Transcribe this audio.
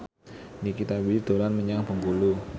Nikita Willy dolan menyang Bengkulu